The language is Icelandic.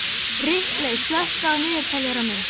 Ripley, slökktu á niðurteljaranum.